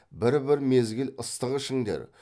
бір бір мезгіл ыстық ішіңдер